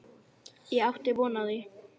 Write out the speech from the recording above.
Ég átti von á því.